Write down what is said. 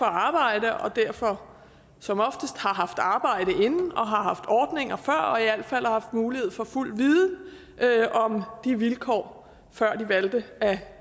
arbejde og derfor som oftest har haft arbejde inden og haft ordninger før og i alt fald har haft mulighed for fuld viden om de vilkår før de valgte at